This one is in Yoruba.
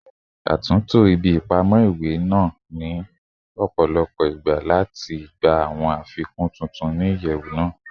A tunto ibi ipamọ iwe naa ni ọpọlọpọ igba lati gba awọn afikun tuntun ni iyẹwu naa